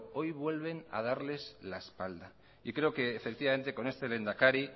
hoy vuelven a darles la espalda y creo que efectivamente con este lehendakari